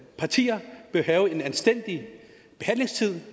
partier bør have anstændigt med tid